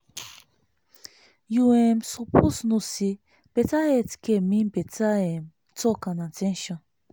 you um suppose know say better health care mean better um talk and at ten tion.